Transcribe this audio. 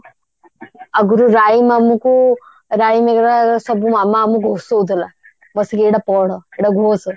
ଆଗରୁ rhyme ଆମକୁ rhyme वगेरा ସବୁ ମାମା ଆମକୁ ଘୋଷଉଥିଲା ବସିକି ଏଟା ପାଢ ଏଟା ଘୋଷ